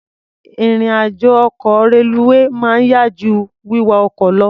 Ìrìn-àjọ ọkọ̀ reluwé máa ń yá jú wíwa ọkọ̀ lọ.